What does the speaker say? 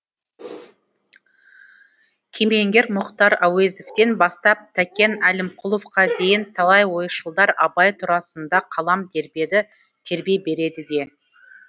кемеңгер мұхтар әуезовтен бастап тәкен әлімқұловқа дейін талай ойшылдар абай турасында қалам тербеді тербей береді де